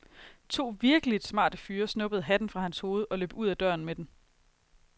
To virkeligt smarte fyre snuppede hatten fra hans hoved og løb ud af døren med den.